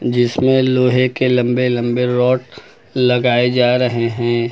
जिसमें लोहे के लंबे लंबे रोड लगाए जा रहे हैं।